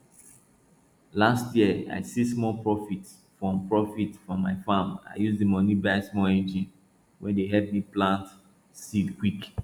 last year i see small profit from profit from my farm i use the money buy small engine wey dey help me plant seed quick